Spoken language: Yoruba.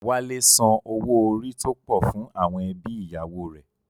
Wálé san owó orí tó pọ̀ fún àwọn ẹbí ìyàwó rẹ̀